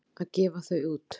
Að gefa þau út!